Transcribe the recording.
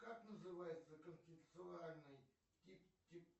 как называется концептуальный тип тип